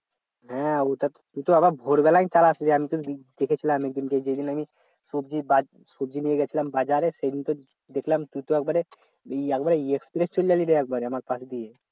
হ্যাঁ তুই তো আবার ভোরবেলায় চালাশ রে আমিতো দেখেছিলাম একদিন কে যেদিন আমি সবজি নিয়ে গিয়েছিলাম বাজারে সেদিন তো দেখলাম তুই তো একেবারে একেবারে express চলে গেলি রে আমার পাশ দিয়ে